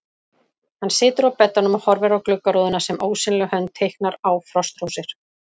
Hann situr á beddanum og horfir á gluggarúðuna sem ósýnileg hönd teiknar á frostrósir.